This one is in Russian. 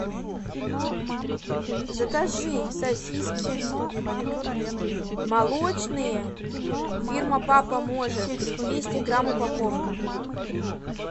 закажи сосиски молочные фирма папа может двести грамм упаковка